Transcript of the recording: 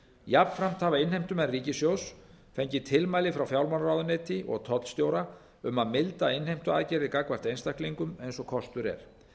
jafnframt hafa innheimtumenn ríkissjóðs fengið tilmæli frá fjármálaráðuneyti og tollstjóra um að milda innheimtuaðgerðir gagnvart einstaklingum eins og kostur er